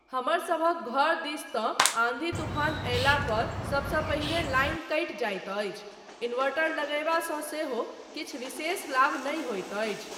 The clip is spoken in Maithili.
हमरसभक घर दिस तँ आन्धी तूफान अयला पर सबसँ पहिने लाइन कटि जाइत अछि, इन्वर्टर लगयबा सँ सेहो किछु विशेष लाभ नहि होइत अछि।